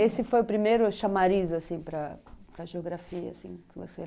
Esse foi o primeiro chamariz assim para geografia, que você lembra?